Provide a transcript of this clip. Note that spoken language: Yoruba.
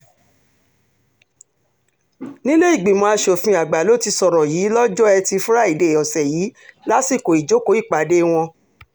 nílé ìgbìmọ̀ asòfin àgbà ló ti sọ̀rọ̀ yìí lọ́jọ́ etí furcabee ọ̀sẹ̀ yìí lásìkò ìjókòó ìpàdé wọn